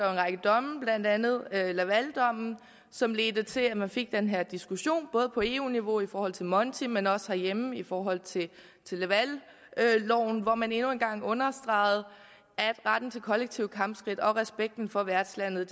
række domme blandt andet lavaldommen som ledte til at man fik den her diskussion både på eu niveau i forhold til monti men også herhjemme i forhold til lavalloven hvor man endnu en gang understregede at retten til kollektive kampskridt og respekten for værtslandet